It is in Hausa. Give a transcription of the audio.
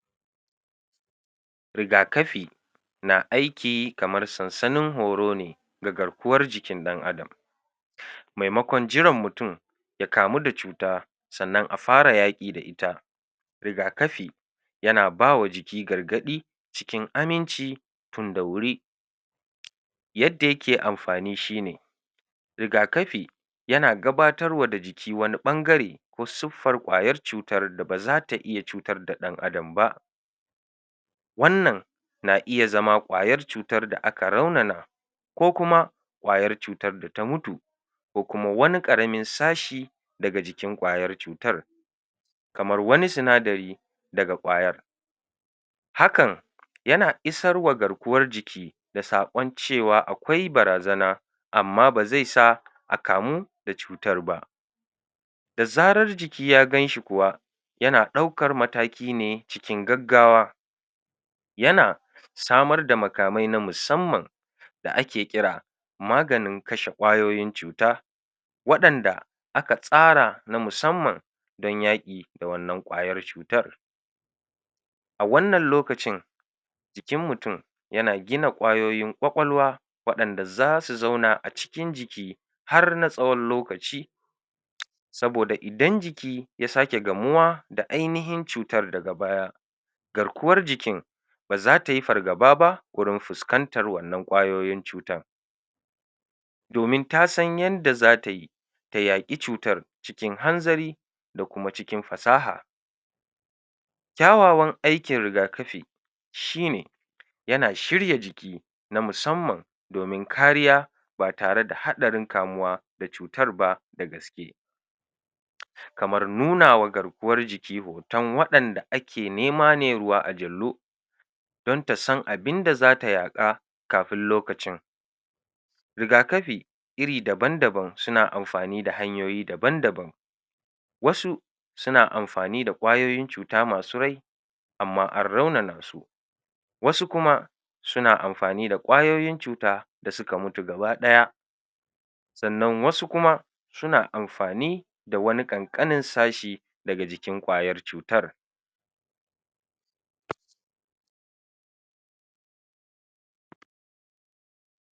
rigakafi na aiki kamar sansanin horo ne ga garkuwar jikin ɗan'Adam maimakon jiran mutum ya kamuda cuta sa'anan afara yaki da ita rigakafi yana bawa jiki gargaɗi cikin aminci tunda wuri yadda yake amfani shine rigakafi yana gabatarwa da jiki wani ɓangare ko suffar kwayar cutarda bazata iya cutar da dan 'Adam ba wannan na iya zama ƙwayar cutarda aka raunana ko kuma kwayar cutar data mutu ko kuma wani karamin sashi daga jikin kwayar cutar kamar wani sinadari daga kwayar hakan yana isarwa garkuwar jiki da sakon cewa akwai barazana amma bezesa akamu da cutarba da zarar jiki ya ganshi kuwa yana ɗaukar matakine cikin gaugawa yana samarda makamai na musamman da ake kira maganin kashe kwayoyin cuta waɗanda aka tsara na musamman dan yaƙi da wannan kwayar cutar a wannan lokacin jikin mutum yana gina kwayoyin kwakwalwa waɗanɗa zasu zauna a cikin jiki har na tsawon lokaci saboda idan jiki ya sake gamuwa da ainihin cutar daga baya garkuwar jikin bazatayi fargababa wurin fuskantar wannan kwayoyin cutar domin ta san yanda zatayi ta yaƙi cutar cikin hanzari da kuma cikin fasaha kyawawan aikin rigakafi shine yana shirya jiki na musamman domin kariya ba tareda haɗarin kamuwa da cutarba da gaske kamar nuna wa garkuwar jiki hoton waɗanda ake nema ne ruwa a jallo don tasan abinda zata yaka kafin lokacin rigakafi iri daban daban suna amfanida hanyoyi daban daban wasu suna amfanida kwayoyin cuta masu rai amma an raunana su wasu kuma suna amfanida kwayoyin cuta dasuka mutu gaba daya sa'anan wasu kuma suna amfani da wani kankanin sashi daga jikin kwayar cutar